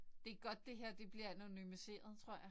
Det godt det her bliver anonymiseret tror jeg